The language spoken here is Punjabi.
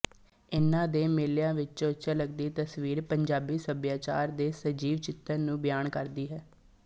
ਇਨ੍ਹਾਂ ਦੇ ਮੇਲਿਆਂ ਵਿੱਚੋਂ ਝਲਕਦੀ ਤਸਵੀਰ ਪੰਜਾਬੀ ਸੱਭਿਆਚਾਰ ਦੇ ਸਜੀਵ ਚਿੱਤਰ ਨੂੰ ਬਿਆਨ ਕਰਦੀ ਹੈ